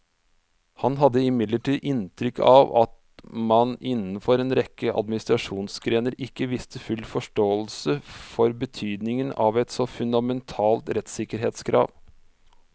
Han hadde imidlertid inntrykk av at man innenfor en rekke administrasjonsgrener ikke viste full forståelse for betydningen av et så fundamentalt rettssikkerhetskrav.